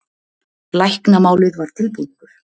Læknamálið var tilbúningur.